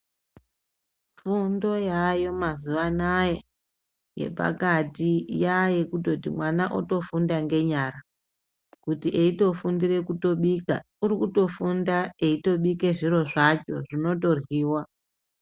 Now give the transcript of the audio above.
Fundo yaayo mazuvaanaya yepakati yayekutoti mwana otofunda ngenyara kuti eitofundire kutobika urikutofunda eitobika zviro zvacho zvinotoryiwa.